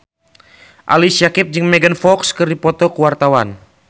Ali Syakieb jeung Megan Fox keur dipoto ku wartawan